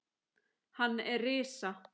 Hann er risa